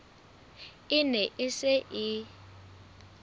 e ne e se e